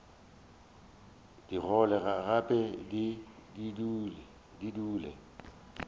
di gole gape di dule